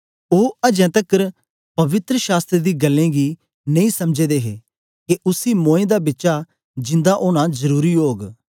ओ तां अजें तकर पवित्र शास्त्र दी गल्लें गी नेई समझे दे हे के उसी मोए दां बिचा जिंदा ओना जरुरी ओग